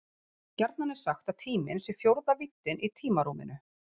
Gjarnan er sagt að tíminn sé fjórða víddin í tímarúminu.